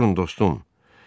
Durun dostum.